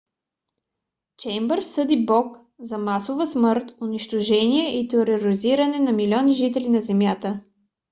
чеймбърс съди бог за масова смърт унищожение и тероризиране на милиони жители на земята.